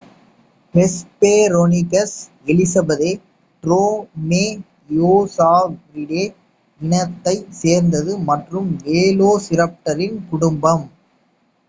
Hesperonychus elizabethae Dromaeosauridae இனத்தைச் சேர்ந்தது மற்றும் வேலோசிராப்டரின் குடும்பம்